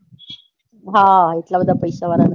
હા એટલા બધા પૈસા વાળા નથી